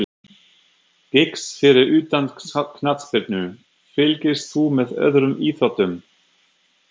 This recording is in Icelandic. Giggs Fyrir utan knattspyrnu, fylgist þú með öðrum íþróttum?